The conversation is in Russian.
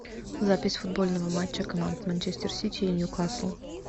запись футбольного матча команд манчестер сити и ньюкасл